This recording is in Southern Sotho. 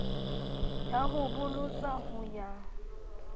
ya ho bolotsa ho ya